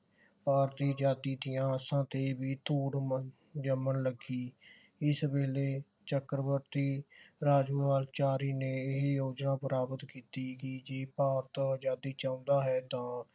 ਭਾਰਤੀ ਆਜ਼ਾਦੀ ਦੀਆਂ ਆਸਾਂ ਤੇ ਵੀ ਧੂੜ ਜੰਮਣ ਲੱਗੀ ਇਸ ਵੇਲੇ ਚੱਕਰਵਰਤੀ ਰਾਜਕੁਮਾਰ ਚਾਰਿ ਨੇ ਇਹ ਯੋਜਨਾ ਪ੍ਰਾਪਤ ਕੀਤੀ ਕਿ ਜੀ ਭਾਰਤ ਆਜ਼ਾਦੀ ਚਾਹੁੰਦਾ ਹੈ ਤਾਂ